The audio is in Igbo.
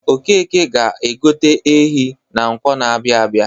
Okeke ga-egote ehi na Nkwọ na-abịa abịa.